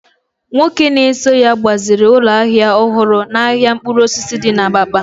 nwoke na-eso ya gbaziri ụlọ ahịa ọhụrụ n’ahịa mkpụrụ osisi di na Abakpa